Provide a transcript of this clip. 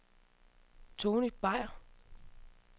Tonny Beyer